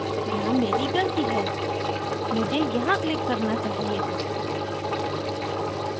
यहाँ here गलती है मुझे यहाँ clicked करना चाहिए था